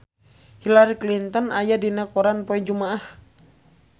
Hillary Clinton aya dina koran poe Jumaah